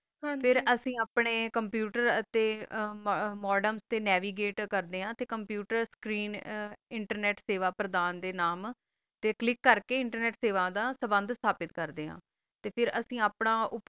ਹਨ ਜੀ ਫਿਰ ਅਸੀਂ ਆਪਣਾ computer ਤਾ modem nave gate ਕਰਨਾ ਆ computer screen internet ਤਾ ਕਲਿਕ ਕਰ ਕਾ ਸਵਾ ਦਾ ਸ੍ਵੰਤ ਸਾਬਤ ਕਰਦਾ ਆ ਫਿਰ ਅਸੀਂ ਆਪਣਾ